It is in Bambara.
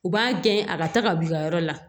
U b'a gɛn a ka ta ka b'i ka yɔrɔ la